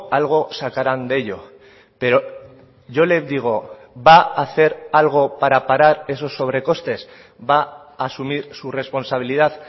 algo sacarán de ello pero yo le digo va a hacer algo para parar esos sobrecostes va a asumir su responsabilidad